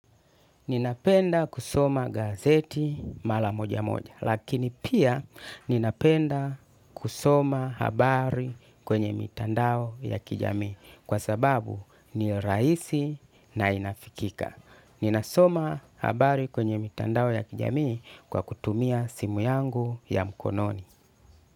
Ninapenda kusoma gazeti mara moja moja. Lakini pia ninapenda kusoma habari kwenye mitandao ya kijamii. Kwa sababu ni rahisi na inafikika. Ninasoma habari kwenye mitandao ya kijamii kwa kutumia simu yangu ya mkononi.